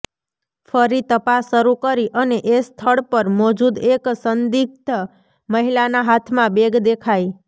ફરી તપાસ શરૂ કરી અને એ સ્થળ પર મોજૂદ એક સંદિગ્ધ મહિલાના હાથમાં બેગ દેખાઈ